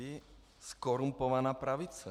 Vy, zkorumpovaná pravice.